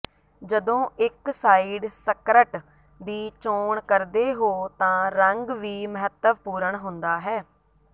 ਜਦੋਂ ਇਕ side skirt ਦੀ ਚੋਣ ਕਰਦੇ ਹੋ ਤਾਂ ਰੰਗ ਵੀ ਮਹੱਤਵਪੂਰਣ ਹੁੰਦਾ ਹੈ